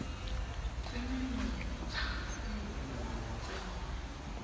tse menontsha e tsengwang mo